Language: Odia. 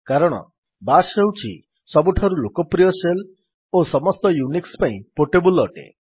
କାରଣ ବାଶ୍ ହେଉଛି ସବୁଠାରୁ ଲୋକପ୍ରିୟ ଶେଲ୍ ଓ ସମସ୍ତ ୟୁନିକ୍ସ୍ ପାଇଁ ପୋର୍ଟେବଲ୍ ଅଟେ